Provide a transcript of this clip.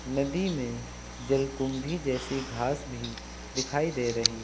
नदी में जल कुंभी जैसी घास भी दिखाई दे रही है।